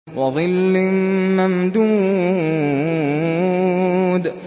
وَظِلٍّ مَّمْدُودٍ